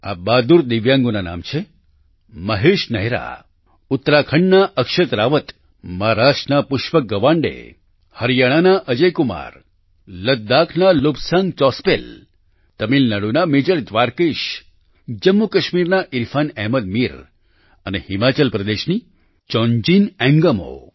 આ બહાદુર દિવ્યાંગોના નામ છે મહેશ નેહરા ઉત્તરાખંડના અક્ષત રાવત મહારાષ્ટ્રના પુષ્પક ગવાંડે હરિયાણાના અજય કુમાર લદ્દાખના લોબ્સાંગ ચોસ્પેલ તમિલનાડુના મેજર દ્વારકેશ જમ્મુકાશ્મીરના ઈરફાન અહમદ મીર અને હિમાચલ પ્રદેશની ચોન્જિન એન્ગમો